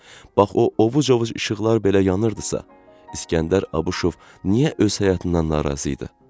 bax o ovuc-ovuc işıqlar belə yanırdısa, İskəndər Abışov niyə öz həyatından narazı idi?